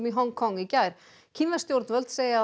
í Hong Kong í gær kínversk stjórnvöld segja